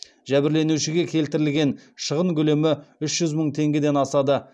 жәбірленушіге келтірілген шығын көлемі үш жүз мың теңгеден асады